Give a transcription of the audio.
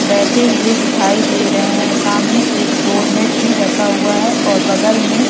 बैठे हुए दिखाई दे रहे हैं सामने एक डोर मेट भी रखा हुआ है और बगल में--